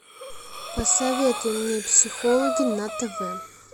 посоветуй мне психологи на тв